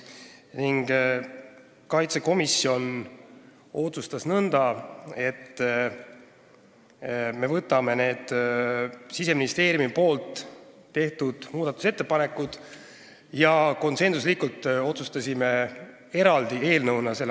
Riigikaitsekomisjon otsustas konsensuslikult nõnda, et me algatame nende Siseministeeriumi tehtud muudatusettepanekute jaoks eraldi eelnõu.